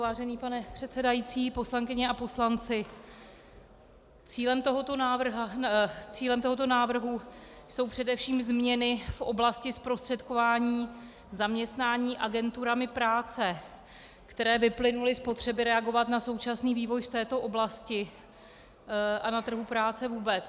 Vážený pane předsedající, poslankyně a poslanci, cílem tohoto návrhu jsou především změny v oblasti zprostředkování zaměstnání agenturami práce, které vyplynuly z potřeby reagovat na současný vývoj v této oblasti a na trhu práce vůbec.